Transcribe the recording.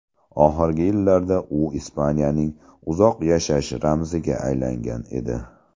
Oxirgi yillarda u Ispaniyaning uzoq yashash ramziga aylangan edi.